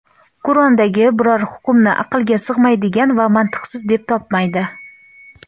Qur’ondagi biror hukmni aqlga sig‘maydigan va mantiqsiz deb topmaydi.